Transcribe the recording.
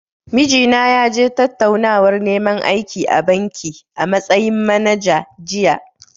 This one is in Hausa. Mijina ya je tattaunawar neman aiki a banki, a matsayin manager, jiya.